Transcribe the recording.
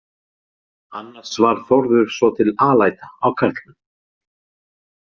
Annars var Þórður svotil alæta á karlmenn.